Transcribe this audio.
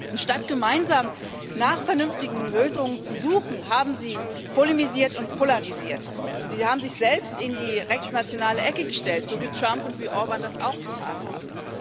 Anstatt gemeinsam nach vernünftigen Lösungen zu suchen, haben Sie polemisiert und polarisiert, und Sie haben sich selbst in die rechtsnationale Ecke gestellt, so wie Trump und wie Orbán das auch getan haben.